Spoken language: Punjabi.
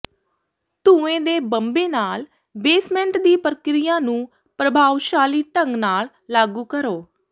ਧੂੰਏਂ ਦੇ ਬੰਮੇ ਨਾਲ ਬੇਸਮੈਂਟ ਦੀ ਪ੍ਰਕਿਰਿਆ ਨੂੰ ਪ੍ਰਭਾਵਸ਼ਾਲੀ ਢੰਗ ਨਾਲ ਲਾਗੂ ਕਰੋ